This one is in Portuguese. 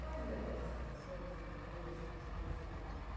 Quais eram essas ações inovadoras que você pode citar aqui?